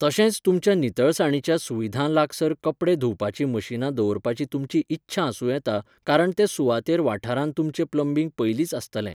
तशेंच तुमच्या नितळसाणीच्या सुविधां लागसार कपडे धुवपाचीं मशीनां दवरपाची तुमची इत्सा आसुं येता कारण ते सुवातेर वाठारांत तुमचें प्लंबिंग पयलींच आसतलें.